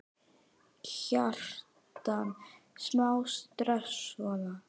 Kjartan: Smá stress, svona?